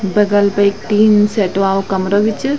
बगल पे ऐक टीन सेट वालु कमरा बि च।